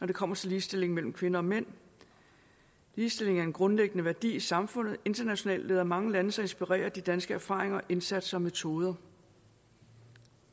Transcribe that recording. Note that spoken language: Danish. det kommer til ligestilling mellem kvinder og mænd ligestilling er en grundlæggende værdi i samfundet internationalt lader mange lande sig inspirere af de danske erfaringer indsatser og metoder